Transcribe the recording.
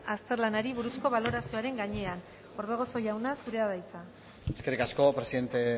azterlanari buruzko balorazioaren gainean orbegozo jauna zurea da hitza eskerrik asko presidente